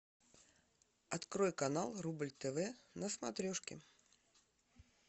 открой канал рубль тв на смотрешке